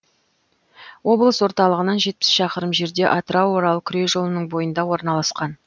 облыс орталығынан жетпіс шақырым жерде атырау орал күре жолының бойында орналасқан